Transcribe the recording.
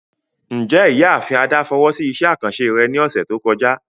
Njẹ Iyaafin Ada fowo si iṣẹ akanṣe rẹ ni ọsẹ to kọja?